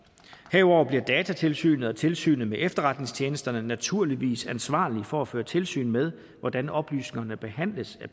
herudover bliver datatilsynet og tilsynet med efterretningstjenesterne naturligvis ansvarlige for at føre tilsyn med hvordan oplysningerne behandles af